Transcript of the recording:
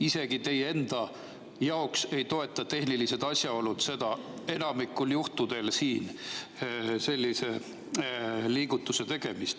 Isegi teie enda jaoks ei toeta tehnilised asjaolud enamikul juhtudel siin sellise liigutuse tegemist.